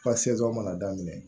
Ka se jɔ mana daminɛ